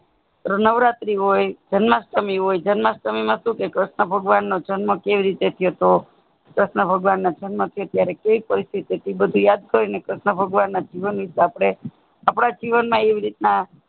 નવરાત્રી હોય જન્માષ્મી હોય જન્માષ્મી માં શું કે કૃષ્ણ ભગવાન જન્મ કેવી રીતે થયો તો કૃષ્ણ ભગવાન નો જન્મ કેવી પરીસ્થીતી હતી બધું યાદ હોય કૃષ્ણ ભગવાન ના જીવન વિષે આપણે આપણા એવી રીતના